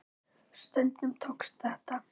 Stundum tókst þetta.